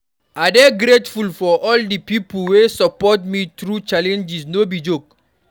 I dey grateful for di pipo wey support me through challenges, no be joke.